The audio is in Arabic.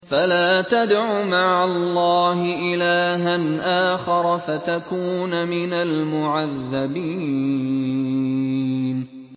فَلَا تَدْعُ مَعَ اللَّهِ إِلَٰهًا آخَرَ فَتَكُونَ مِنَ الْمُعَذَّبِينَ